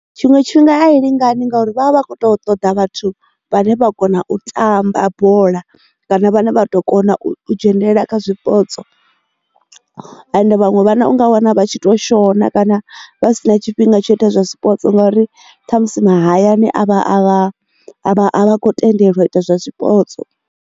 Tshiṅwe tshifhinga ayi lingani ngauri vha vha vha kho ṱo ṱoḓa vhathu vhane vha kona u tamba bola kana vhane vha to kona u dzhenelela kha zwipotso ende vhaṅwe vhana u nga wana vha tshi to shona kana vha si na tshifhinga tsho ita zwa sport ngauri kha musi mahayani avha a vha a kho tendelwa ita zwa zwipotso.